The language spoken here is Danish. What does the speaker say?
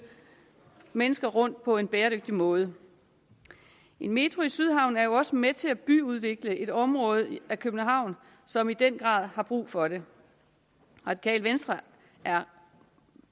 mennesker rundt på en bæredygtig måde en metro i sydhavnen er jo også med til at byggeudvikle et område af københavn som i den grad har brug for det radikale venstre er